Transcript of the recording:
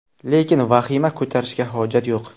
Lekin vahima ko‘tarishga hojat yo‘q.